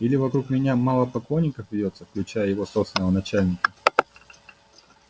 или вокруг меня мало поклонников вьётся включая его собственного начальника